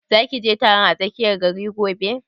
Za ki je taron a tsakiyar gari gobe?